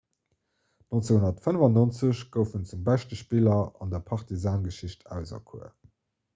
1995 gouf en zum beschte spiller an der partizan-geschicht auserkuer